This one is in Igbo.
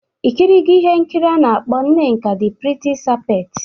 Ị kirigo ihe nkiri a na-akpọ "Nneka the pretty serpent"?